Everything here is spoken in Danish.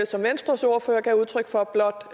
som venstres ordfører gav udtryk for blot